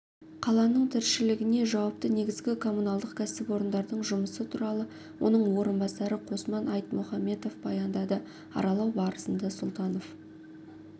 қаланың тіршілігіне жауапты негізгі коммуналдық кәсіпорындардың жұмысы туралы оның орынбасары қосман айтмұхаметов баяндады аралау барысында сұлтанов